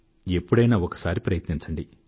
ఎప్పుడైనా ఒకసారి ప్రయత్నించండి